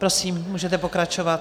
Prosím, můžete pokračovat.